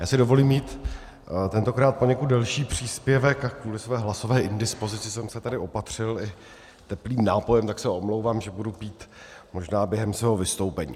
Já si dovolím mít tentokrát poněkud delší příspěvek a kvůli své hlasové indispozici jsem se tady opatřil i teplým nápojem, tak se omlouvám, že budu pít možná během svého vystoupení.